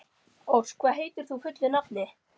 Ósk, hvað heitir þú fullu nafni?